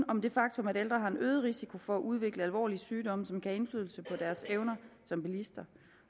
om det faktum at ældre har en øget risiko for at udvikle alvorlige sygdomme som kan have indflydelse på deres evner som bilist